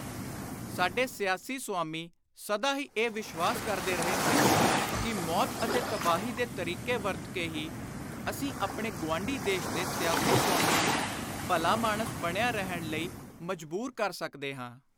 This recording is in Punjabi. ਸਾਡੇ ਸਿਆਸੀ ਸੁਆਮੀ ਸਦਾ ਹੀ ਇਹ ਵਿਸ਼ਵਾਸ ਕਰਦੇ ਰਹੇ ਹਨ ਕਿ ਮੌਤ ਅਤੇ ਤਬਾਹੀ ਦੇ ਤਰੀਕੇ ਵਰਤ ਕੇ ਹੀ ਅਸੀਂ ਆਪਣੇ ਗੁਆਂਢੀ ਦੇਸ਼ ਦੇ ਸਿਆਸੀ ਸੁਆਮੀ ਨੂੰ ਭਲਾਮਾਣਸ ਬਣਿਆ ਰਹਿਣ ਲਈ ਮਜਬੂਰ ਕਰ ਸਕਦੇ ਹਾਂ।